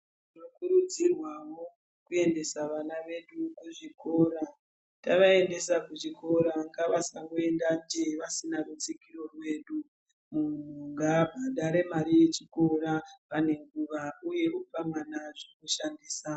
Tinokurudzirwawo kuendesa vana vedu kuzvikora. Tavaendesa kuchikora ngavasangoenda njee vasina rutsigiro rwedu. Munhu ngaabhadhare mari yechikora pane nguwa uye opa mwana zvekushandisa.